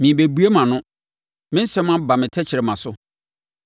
Merebɛbue mʼano; me nsɛm aba me tɛkrɛma so.